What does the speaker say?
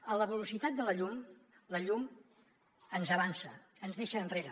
a la velocitat de la llum la llum ens avança ens deixa enrere